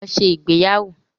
Lọ ṣe ìgbéyàwó.